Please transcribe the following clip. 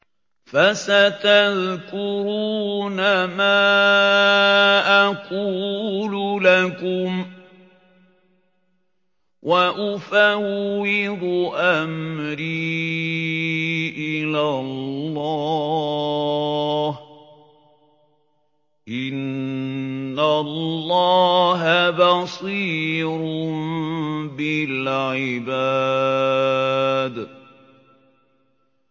فَسَتَذْكُرُونَ مَا أَقُولُ لَكُمْ ۚ وَأُفَوِّضُ أَمْرِي إِلَى اللَّهِ ۚ إِنَّ اللَّهَ بَصِيرٌ بِالْعِبَادِ